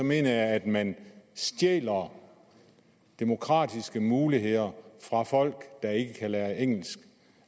mener jeg at man stjæler demokratiske muligheder fra folk der ikke kan lære engelsk